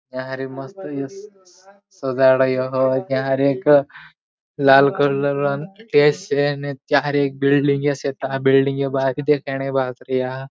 यहारी मस्त सजाड़ ह्यो यहारी एक लाल कलर न टेस हे न चार एक बिल्डिंग बिल्डिंग यास बाहरी देखाण बाजरिया--